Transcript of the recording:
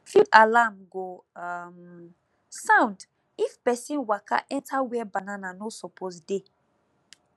field alarm go um sound if pesin waka enter where banana no suppose dey